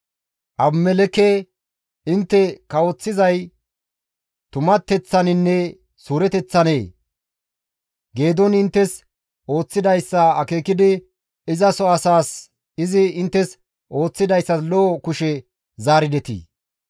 «Abimelekke intte kawoththizay tumateththaninne suureteththanee? Geedooni inttes ooththidayssa akeekidi izaso asaas izi inttes ooththidayssas lo7o kushe zaaridetii?